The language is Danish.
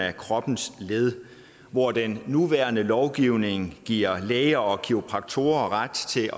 af kroppens led hvor den nuværende lovgivning giver læger og kiropraktorer ret til at